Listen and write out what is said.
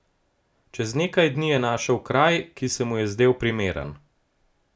Čez nekaj dni je našel kraj, ki se mu je zdel primeren.